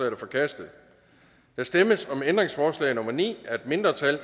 er forkastet der stemmes om ændringsforslag nummer ni af et mindretal